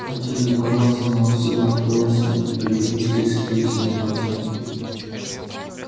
хотел и боялся новостей а открылось на переписке с петиной матерью